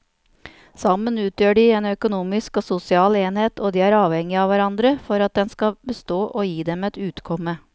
Sammen utgjør de en økonomisk og sosial enhet og de er avhengige av hverandre for at den skal bestå og gi dem et utkomme.